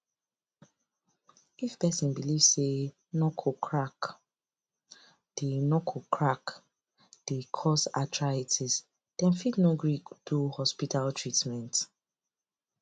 if person belief say knuckle crack dey knuckle crack dey cause arthritis dem fit no gree do hospital treatment